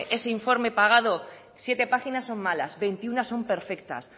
ese informe pagado siete páginas son malas veintiuno son perfectas